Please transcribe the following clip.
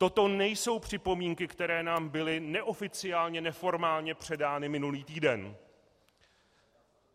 Toto nejsou připomínky, které nám byly neoficiálně, neformálně předány minulý týden.